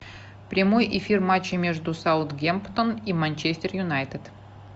прямой эфир матча между саутгемптон и манчестер юнайтед